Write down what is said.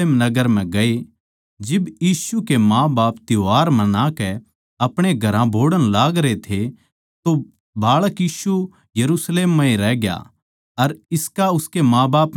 जिब यीशु के माँबाप त्यौहार मनाकै अपणे घरां बोहड़ण लागरे थे तो बाळक यीशु यरुशलेम म्ह रहग्या अर इसका उसकै माँबाप नै कोनी बेरा था